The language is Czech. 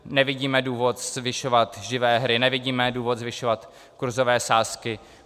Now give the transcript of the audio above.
Nevidím důvod zvyšovat živé hry, nevidíme důvod zvyšovat kurzové sázky.